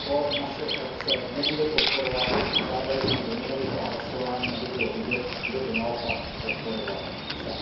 To naše frakce nebude podporovat a žádali jsme o jmenovitá hlasování, aby bylo vidět, kdo to naopak podporovat chce.